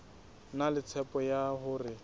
na le tshepo ya hore